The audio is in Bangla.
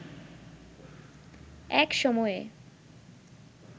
এক সময়ে